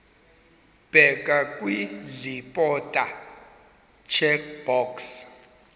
bheka kwiimporter checkbox